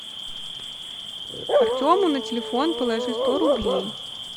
артему на телефон положи сто рублей